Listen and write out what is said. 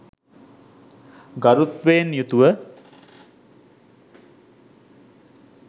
ගරුත්වයෙන් යුතුව